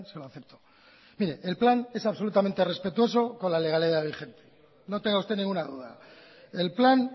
lo acepto el plan es absolutamente respetuoso con la legalidad vigente no tenga usted ninguna duda el plan